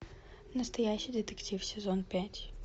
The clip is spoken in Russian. настоящий детектив сезон пять